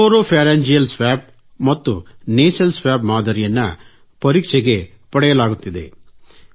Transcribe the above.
oropharyngeal ಮತ್ತು nasal ಮಾದರಿಯನ್ನು ಪರೀಕ್ಷೆಗೆ ಪಡೆಯಲಾಗುತ್ತಿದೆ